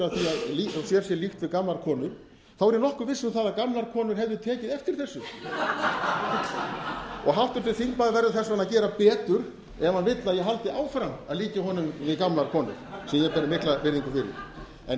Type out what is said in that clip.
að sér sé líkt við gamlar konur er ég nokkuð viss um það að gamlar konur hefðu tekið eftir þessu háttvirtur þingmaður verður þess vegna að gera betur ef hann vill að ég haldi áfram að líkja honum við gamlar konur sem ég ber mikla virðingu fyrir